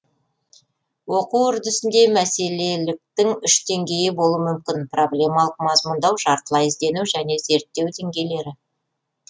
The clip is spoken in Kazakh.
оқу үрдісінде мәселеліктің үш деңгейі болуы мүмкін проблемалық мазмұндау жартылай іздену және зерттеу деңгейлері